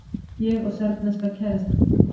Ég og serbneska kærastan mín.